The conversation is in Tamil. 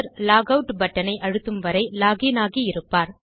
லாகவுட் பட்டன் ஐ அழுத்தும் வரை log இன் ஆகி இருப்பார்